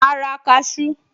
Màá ra kaṣú